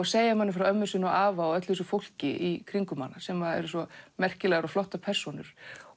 segja manni frá ömmu sinni og afa og öllu þessu fólki í kringum hana sem er svo merkilegar og flottar persónur